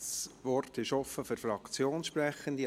Das Wort ist offen für Fraktionssprechende.